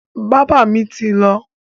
Bábà mi ti lọ.